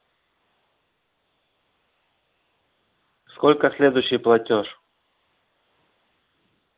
сколько следующий платёж